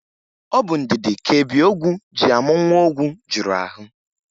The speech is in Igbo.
Ọ bụ ndidi ka ebiogwu ji amụ nwa ogwu juru ahụ.